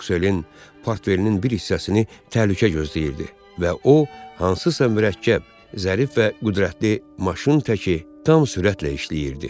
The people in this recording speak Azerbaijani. Maksuelin portfelinin bir hissəsini təhlükə gözləyirdi və o, hansısa mürəkkəb, zərif və qüdrətli maşın təki tam sürətlə işləyirdi.